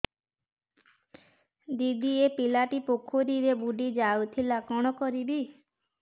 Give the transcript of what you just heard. ଦିଦି ଏ ପିଲାଟି ପୋଖରୀରେ ବୁଡ଼ି ଯାଉଥିଲା କଣ କରିବି